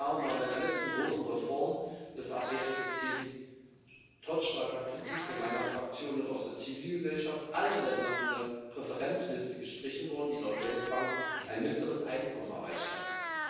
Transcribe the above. Vor fünf Jahren waren bei der letzten großen Reform des APS-Systems trotz starker Kritik von meiner Fraktion und aus der Zivilgesellschaft alle Länder von der Präferenzliste gestrichen worden, die laut Weltbank ein mittleres Einkommen erreicht hatten.